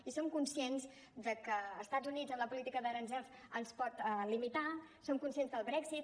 i som conscients de que estats units amb la política d’aranzels ens pot limitar som conscients del brexit